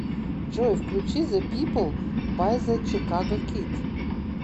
джой включи зе пипл бай зе чикаго кид